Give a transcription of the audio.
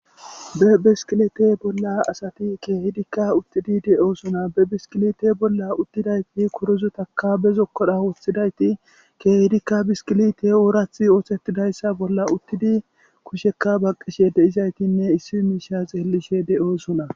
be beskilete bolla asati keehdikka uttidi de7oosona be biskilite bolla uttidayti kuruzutaka bezokkodha woththidayti keehdikka bisqilite oorathi oosettidayssa bolla uttidi kushekka baqqishe deizaytinne issi miisha xeellishe de7oosona